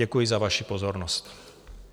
Děkuji za vaši pozornost.